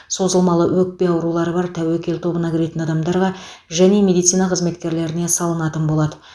созылмалы өкпе аурулары бар тәуекел тобына кіретін адамдарға және медицина қызметкерлеріне салынатын болады